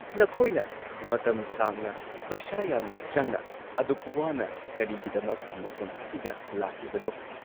ꯅꯈꯣꯏꯅ ꯃꯇꯝ ꯁꯥꯡꯅ, ꯄꯩꯁꯥ ꯌꯥꯝꯅ ꯆꯪꯅ, ꯑꯗꯨꯛ ꯋꯥꯅ ꯀꯔꯤꯒꯤꯗꯃꯛ ꯃꯐꯝ ꯑꯁꯤꯗ ꯂꯥꯛꯂꯤꯕꯅꯣ?